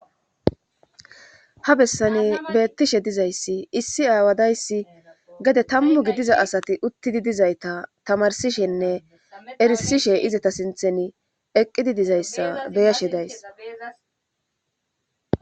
Habessani beettishe dizayssi issi aawadayssi gede tammu gidiza asati uttidi dizayta tamarsishenne erisishe izata sinthen eqqidi dizayssa beyashe days.